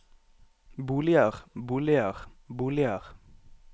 boliger boliger boliger